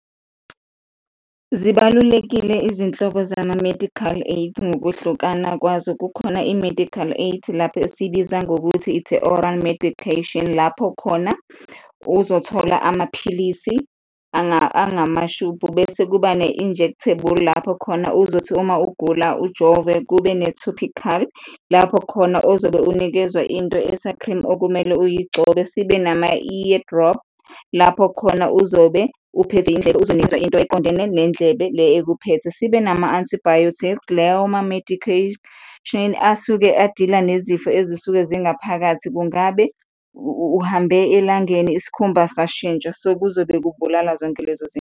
Zibalulekile izinhlobo zama-medical aid ngokuhlukana kwazo. Kukhona i-medical aid lapha esiyibiza ngokuthi it's a oral medication, lapho khona uzothola amaphilisi angamashubhu bese kuba ne-injectable, lapho khona uzothi uma ugula ujove, kube ne-topical, lapho khona ozobe unikezwa into esa-cream okumele uyigcobe, sibe nama-ear drop, lapho khona uzobe uphethwe indlebe, uzonikezwa into eqondene nendlebe le ekuphethe, sibe nama-antibiotics, lawo ma medication asuke a-deal-a nezifo ezisuke zingaphakathi, kungabe uhambe elangeni isikhumba sashintsha? So kuzobe kubulala zonke lezo zinto.